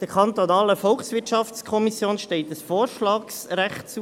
Der kantonalen Volkswirtschaftskommission steht ein Vorschlagsrecht zu.